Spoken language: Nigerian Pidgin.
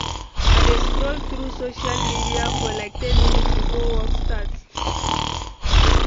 I dey scroll through social media for like ten minutes before work starts.